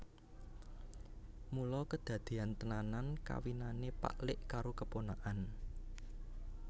Mula kedadeyan tenan kawinane pak lik karo keponakan